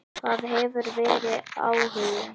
Það hefur verið áhugi.